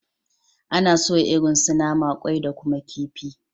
Ana soya irin su nama, kwai da kuma kifi